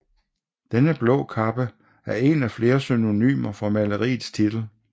Denne blå kappe er en af flere synonymer for maleriets titel